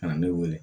Ka na ne wele